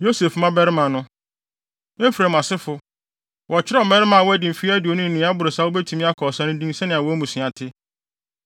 Yosef mmabarima no: Efraim asefo: Wɔkyerɛw mmarima a wɔadi mfe aduonu ne nea ɛboro saa a wobetumi akɔ ɔsa no din sɛnea wɔn mmusua te.